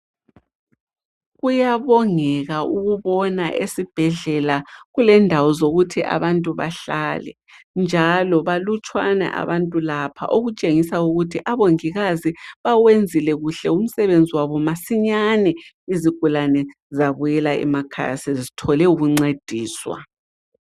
Kuyabongeka ukubona esibhedlela kulendawo zokuthi abantu bahlale, njalo balutshwane abantu lapha, okutshengisa ukuthi abongikazi bawenzile kuhle umsebenzi wabo masinyane izigulane zabuyela emakhaya sezithole ukuncediswa.